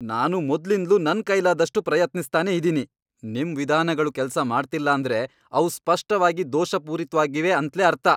ನಾನು ಮೊದ್ಲಿಂದ್ಲೂ ನನ್ ಕೈಲಾದಷ್ಟು ಪ್ರಯತ್ನಿಸ್ತಾನೇ ಇದೀನಿ, ನಿಮ್ ವಿಧಾನಗಳು ಕೆಲ್ಸ ಮಾಡ್ತಿಲ್ಲ ಅಂದ್ರೆ ಅವು ಸ್ಪಷ್ಟವಾಗಿ ದೋಷಪೂರಿತ್ವಾಗಿವೆ ಅಂತ್ಲೇ ಅರ್ಥ.